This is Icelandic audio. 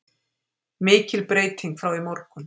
Mikil breyting frá í morgun